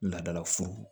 Laadala fu